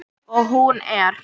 Og hún er.